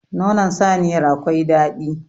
Nonon saniyar akwai dadi.